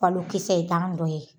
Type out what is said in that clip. Balokisɛ I t'an dɔ ye.